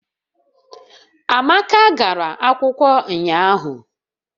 Amaka gara akwụkwọ ụnyahụ